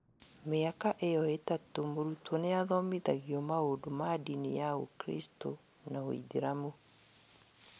Mĩaka ĩyo itatũ mũrutwo nĩathomithagio maũndũ ma ndini ya ũkiristù na ũithĩramu